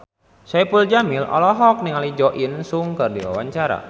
Saipul Jamil olohok ningali Jo In Sung keur diwawancara